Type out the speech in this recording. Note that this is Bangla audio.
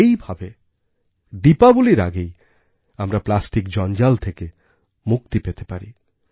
এই ভাবে দীপাবলির আগেই আমরা প্লাস্টিক জঞ্জাল থেকে মুক্তি পেতে পারি